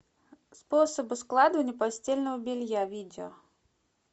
способы складывания постельного белья видео